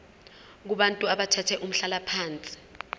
kubantu abathathe umhlalaphansi